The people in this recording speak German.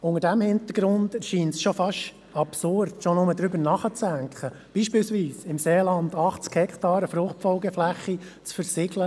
Vor diesem Hintergrund erscheint es schon fast absurd, schon nur darüber nachzudenken, zum Beispiel im Seeland für ein Hors-Sol-Gewächshaus 80 Hektaren Fruchtfolgeflächen zu versiegeln.